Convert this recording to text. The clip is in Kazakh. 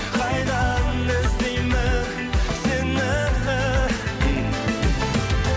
қайдан іздеймін сені